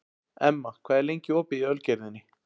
Emma, hvað er lengi opið í Ölgerðinni?